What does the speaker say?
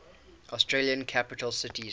australian capital cities